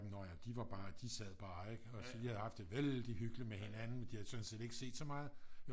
Nå ja de var bare de sad bare ikke og de havde haft det vældigt hyggeligt med hinanden og de havde sådan set ikke set så meget